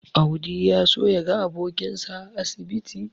Audi ya so yaga abokinsa a asibiti.